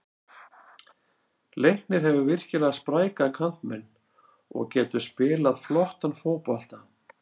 Leiknir hefur virkilega spræka kantmenn og getur spilað flottan fótbolta.